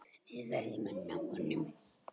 Við verðum að ná honum.